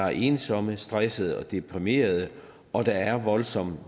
er ensomme stressede og deprimerede og der er en voldsom